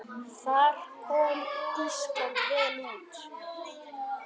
Þar kom Ísland vel út.